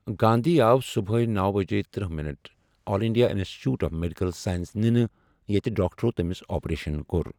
گاندھی آو صبحٲے نوَ بجے تٔرہ minute all India institute of medical science نِنہٕ یتہِ ڈاکٹرو تٔمِس آپریشَن کوٚر